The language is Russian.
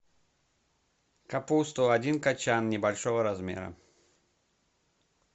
капусту один кочан небольшого размера